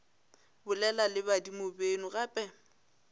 bolela le badimo beno gape